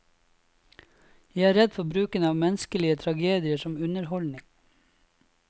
Jeg er redd for bruken av menneskelige tragedier som underholdning.